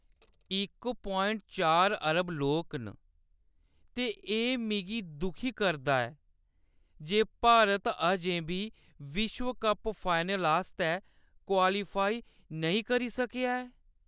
इक प्वाइंट चार अरब लोक न ते एह् मिगी दुखी करदा ऐ जे भारत अजें बी विश्व कप फाइनल आस्तै क्वालीफाई नेईं करी सकेआ ऐ।